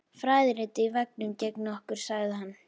Fræðirit á veggnum gegnt okkur sagði hann.